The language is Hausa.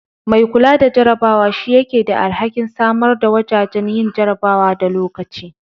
Mai kula da jarabawa shi yake da alhakin samar da wajajen yin jarabawa da lokaci.